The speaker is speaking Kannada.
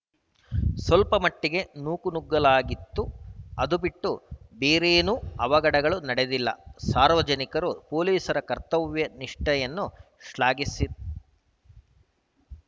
ಸ್ವಲ್ಪಮಟ್ಟಿಗೆ ನೂಕುನುಗ್ಗಲಾಗಿತ್ತುಅದು ಬಿಟ್ಟು ಬೇರೇನೂ ಅವಘಡಗಳು ನಡೆದಿಲ್ಲ ಸಾರ್ವಜನಿಕರೂ ಪೊಲೀಸರ ಕರ್ತವ್ಯ ನಿಷ್ಠೆಯನ್ನು ಶ್ಲಾಘಿಸಿ